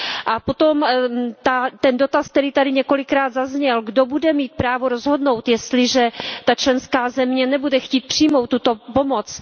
A potom ten dotaz, který tady několikrát zazněl Kdo bude mít právo rozhodnout, jestliže ta členská země nebude chtít přijmout tuto pomoc?